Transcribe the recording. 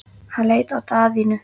Hann leit á Daðínu.